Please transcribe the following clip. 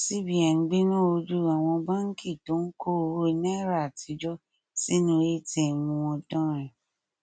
cbn gbéná wojú àwọn báńkì tó ń kó owó náírà àtijọ sínú atm wọn dánrin